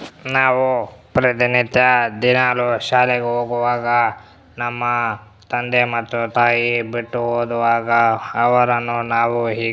ನಾವು ಪ್ರತಿನಿತ್ಯ ದಿನಾಲೂ ಶಾಲೆಗ್ ಹೋಗುವಾಗ ನಮ್ಮ ತಂದೆ ಮತ್ತು ತಾಯಿ ಬಿಟ್ಟು ಹೋಗುವಾಗ ಅವರನ್ನು ನಾವು ಹೀಗೆ --